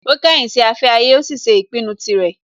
Ó kọ̀yìn sí afẹ́ ayé, ó sì ṣe ìpinnu tirẹ̀